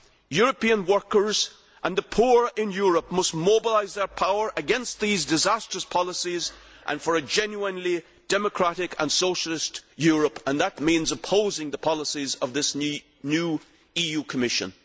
European workers and the poor in Europe must mobilise their power against these disastrous policies and for a genuinely democratic and socialist Europe, and that means opposing the policies of this new EU Commission.